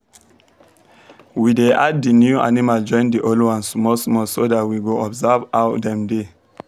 we dey add the new animal join the old ones small small so that we go observe ow dem dey